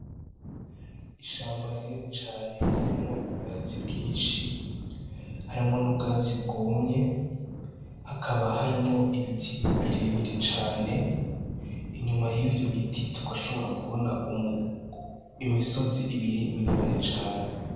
Ishamba rinini cane riremwo ubwatsi bwinshi harimwo n'ubwatsi bwomye hakaba harimwo ibiti birebire cane inyuma y'ivyo biti tukashobora kubona um imisozi ibiri miremere cane.